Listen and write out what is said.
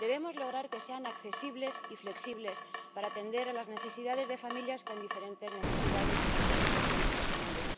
Debemos lograr que sean accesibles y flexibles para atender a las necesidades de familias con diferentes necesidades y situaciones personales.